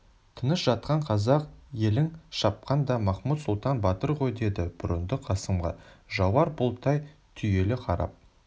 тыныш жатқан қазақ елін шапқан да махмуд-сұлтан батыр ғой деді бұрындық қасымға жауар бұлттай түйіле қарап